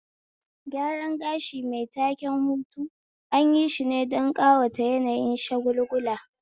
Gyaran gashi mai taken hutu anyi shine don ƙawata yanayin shagulgula